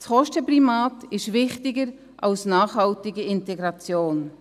Das Kostenprimat ist wichtiger als nachhaltige Integration.